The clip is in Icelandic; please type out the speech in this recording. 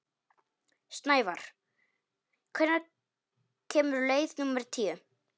Snævarr, hvenær kemur leið númer tíu?